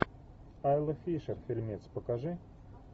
айла фишер фильмец покажи